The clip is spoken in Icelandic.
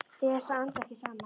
Til þess að anda ekki saman.